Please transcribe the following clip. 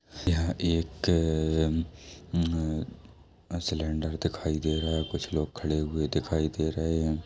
यहां एक अ अ अम में सिलेंडर दिखाई दे रहा है कुछ लोग खड़े हुए दिखाई दे रहै हैं।